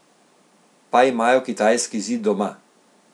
Pa imajo kitajski zid doma.